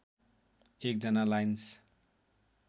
१ जना लाइन्स